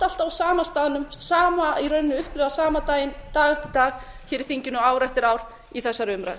alltaf á sama staðnum sama í rauninni upplifa sama daginn dag eftir dag hér í þinginu ár eftir ár í þessari umræðu